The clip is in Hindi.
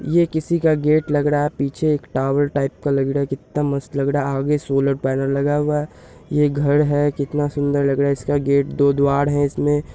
ये किसी का गेट लग रहा है पीछे एक टावर टाइप का लग रहा है कित्ता मस्त लग रहा है आगे सोलर पैनल लगा हुआ है ये घर है कितना सुन्दर लग रहा है इसका गेट दो द्वार है इसमें----